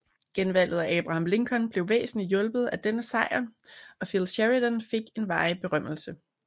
Genvalget af Abraham Lincoln blev væsentligt hjulpet af denne sejr og Phil Sheridan fik en varig berømmelse